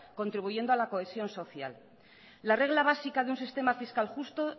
contribuyendo a la cohesión social la regla básica de un sistema fiscal justo